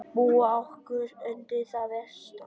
. búa okkur undir það versta.